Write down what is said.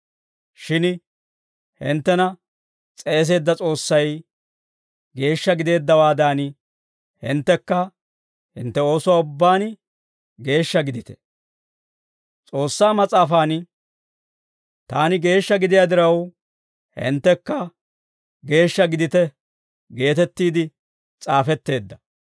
Shin hinttena s'eeseedda S'oossay geeshsha gideeddawaadan, hinttekka hintte oosuwaa ubbaan geeshsha gidite. S'oossaa Mas'aafan, «Taani geeshsha gidiyaa diraw, hinttekka geeshsha gidite» geetettiide s'aafetteedda.